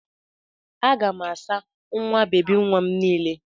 Aga m asa nwa bebi nwa m niile.